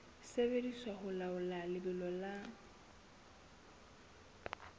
sebediswa ho laola lebelo la